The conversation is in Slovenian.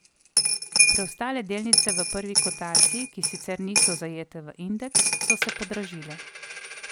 Preostale delnice v prvi kotaciji, ki sicer niso zajete v indeks, so se podražile.